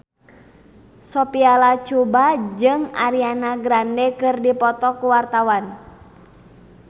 Sophia Latjuba jeung Ariana Grande keur dipoto ku wartawan